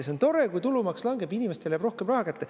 See on tore, kui tulumaks langeb, inimestele jääb rohkem raha kätte.